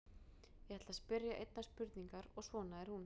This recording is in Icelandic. Ég ætla að spyrja einnar spurningar og svona er hún: